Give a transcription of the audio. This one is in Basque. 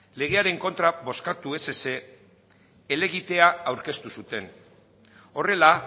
legearen kontra bozkatu ez ezik helegitea aurkeztu zuten horrela